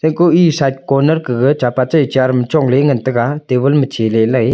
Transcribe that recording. eko e side corner kega chapa char chongle ngan taiga table ma chele le.